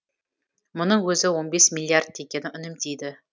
мұның өзі он бес миллиард теңгені үнемдейді